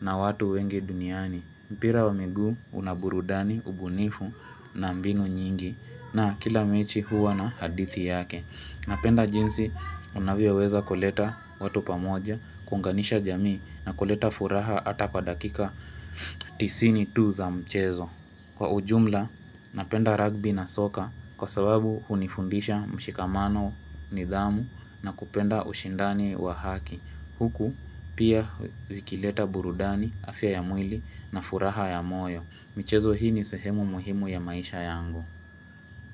na watu wenge duniani. Mpira wa migu unaburudani, ubunifu na mbinu nyingi na kila mechi huwa na hadithi yake. Napenda jinsi unavyeweza kuleta watu pamoja, kunganisha jamii na kuleta furaha ata kwa dakika tisini tu za mchezo. Kwa ujumla, napenda rugby na soka kwa sababu hunifundisha mshikamano nidhamu na kupenda ushindani wa haki. Huku pia vikileta burudani, afya ya mwili na furaha ya moyo. Michezo hii ni sehemu muhimu ya maisha yangu.